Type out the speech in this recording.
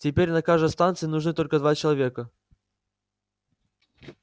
теперь на каждой станции нужны только два человека